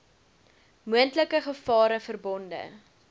moontlike gevare verbonde